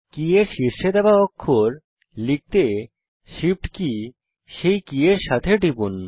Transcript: কী এর শীর্ষে দেওয়া অক্ষর লিখতে Shift কী সেই কী এর সাথে টিপুন